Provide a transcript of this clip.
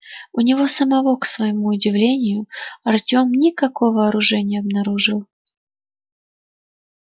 у него самого к своему удивлению артём никакого оружия не обнаружил